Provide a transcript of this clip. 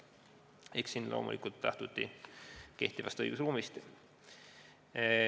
Eks siin loomulikult lähtuti kehtivast õigusruumist.